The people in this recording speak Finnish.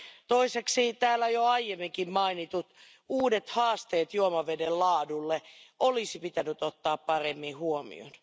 Toiseksi täällä jo aiemminkin mainitut uudet haasteet juomaveden laadulle olisi pitänyt ottaa paremmin huomioon.